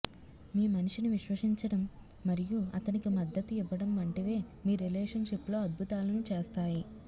మీ మనిషిని విశ్వసించడం మరియు అతనికి మద్దతు ఇవ్వడం వంటివే మీ రిలేషన్ షిప్ లో అద్భుతాలను చేస్తాయి